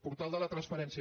portal de la transparència